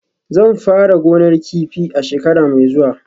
Zan fara gonar kifi a shekara mai zuwa